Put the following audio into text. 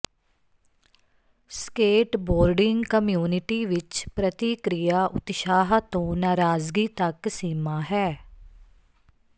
skateboarding community ਵਿੱਚ ਪ੍ਰਤੀਕ੍ਰਿਆ ਉਤਸ਼ਾਹ ਤੋਂ ਨਾਰਾਜ਼ਗੀ ਤੱਕ ਸੀਮਾ ਹੈ